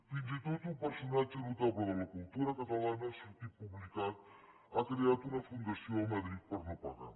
fins i tot un personatge notable de la cultura catalana ha sortit publicat ha creat una fundació a madrid per no pagar